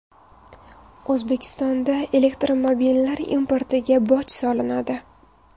O‘zbekistonda elektromobillar importiga boj solinadi.